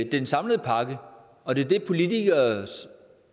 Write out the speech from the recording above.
den samlede pakke og det er det politikernes